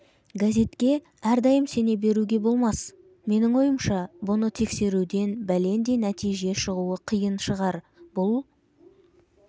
газетке әрдайым сене беруге болмас менің ойымша бұны тексеруден бәлендей нәтиже шығуы қиын шығар бұл